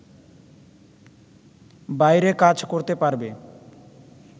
বাইরে কাজ করতে পারবে